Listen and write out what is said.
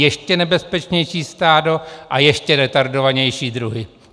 Ještě nebezpečnější stádo a ještě retardovanější druhy.